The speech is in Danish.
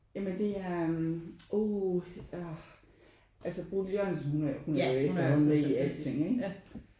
Ja men det er uh ah altså Bodil Jørgensen hun er jo efterhånden med i alting ikke?